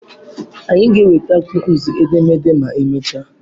Anyị ga-enwetakwu nzu edemede ma emechaa.